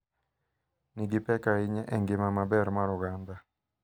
Nigi pek ahinya e ngima maber mar oganda,